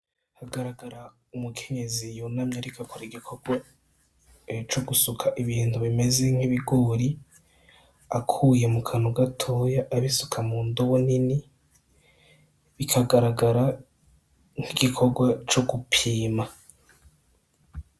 Hagaragara umukenyezi yonamya arikakora igikorwa co gusuka ibintu bimeze nk'ibiguri akuye mu kanu gatoya abisuka mu ndobo nini bikagaragara nk'igikorwa co gupima.